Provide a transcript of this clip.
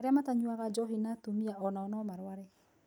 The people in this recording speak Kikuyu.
Arĩa matanyuaga njohi na atumia onao nomarware